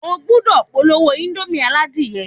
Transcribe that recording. O gbúdọ̀ polówó índómì aládìyẹ